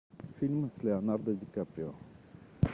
фильмы с леонардо ди каприо